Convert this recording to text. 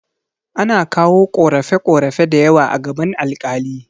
Ana kawo ƙorafe ƙorafe dayawa a gaban alƙali